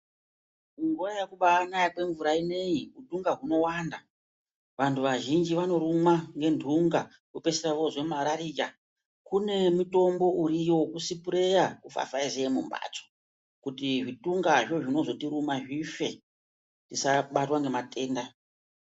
Nguva yekubanaya kwemvura inoiyi utunga hunowanda vantu vazhinji vanorumwa nenhunga vopedzisira vozwe marariya. Kune mutombo uriyo vekusipureya kufafaize mumhatso. Kuti zvitungazvo zvinozotiruma zvife tisabatwa ngematenda.